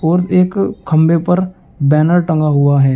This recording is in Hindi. और एक खंभे पर बैनर टंगा हुआ है।